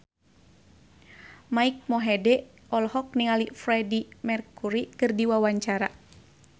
Mike Mohede olohok ningali Freedie Mercury keur diwawancara